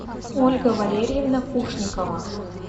ольга валерьевна кушникова